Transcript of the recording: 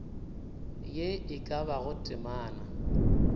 ye e ka bago temana